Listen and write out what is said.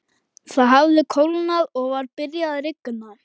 Það hafði kólnað og var byrjað að rigna.